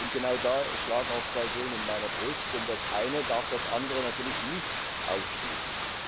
Genau da schlagen auch zwei Seelen in meiner Brust, denn das eine darf das andere natürlich nicht ausschließen.